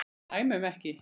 Dæmum ekki.